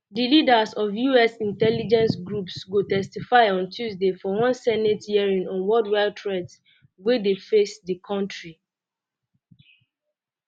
di leaders of us intelligence groups go um testify on tuesday for one senate hearing on worldwide threats wey um dey face di kontri